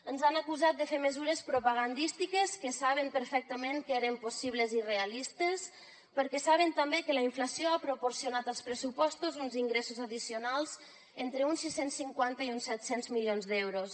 ens han acusat de fer mesures propagandístiques que saben perfectament que eren possibles i realistes perquè saben també que la inflació ha proporcionat als pressupostos uns ingressos addicionals d’entre uns sis cents i cinquanta i uns set cents milions d’euros